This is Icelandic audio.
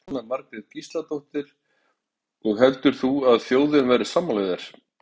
Jóhanna Margrét Gísladóttir: Og heldur þú að þjóðin verði sammála þér?